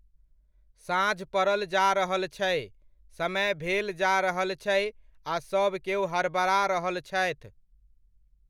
साँझ परल जा रहल छै, समय भेल जा रहल छै आ सभकेओ हड़बड़ा रहल छथि।